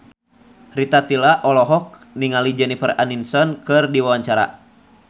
Rita Tila olohok ningali Jennifer Aniston keur diwawancara